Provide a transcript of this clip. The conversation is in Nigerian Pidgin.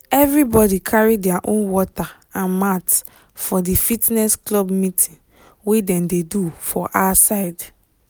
everybody carry their own water and mat for the fitness club meeting wey dem dey do for outside